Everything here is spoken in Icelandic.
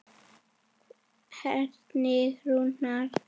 Helgi Rúnar.